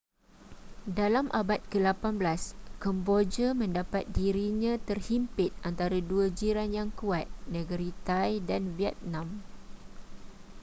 dalam abad ke-18 kemboja mendapat dirinya terhimpit antara dua jiran yang kuat negeri thai dan vietnam